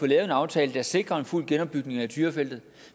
lavet en aftale der sikrer en fuld genopbygning af tyrafeltet